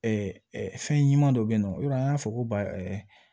fɛn ɲuman dɔ bɛ yen nɔ i b'a dɔn an y'a fɔ ko ba